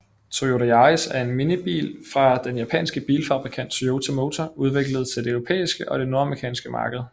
Toyota Yaris er en minibil fra den japanske bilfabrikant Toyota Motor udviklet til det europæiske og det nordamerikanske marked